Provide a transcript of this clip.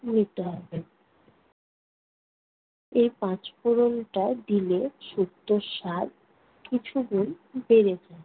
নিতে হবে। এই পাঁচ ফোড়নটা দিলে শুক্তোর স্বাদ কিছু গুণ বেড়ে যায়।